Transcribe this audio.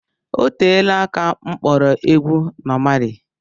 Oteela aka m kpọrọ egwu Nọ Mali